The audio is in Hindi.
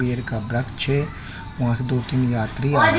पेड़ का वृक्ष है वहा से दो तीन यात्री आ रहे --